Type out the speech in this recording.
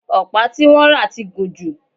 ọ̀pá tí wọ́n rà ti gùn jù